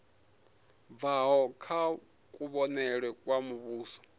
bvaho kha kuvhonele kwa muvhuso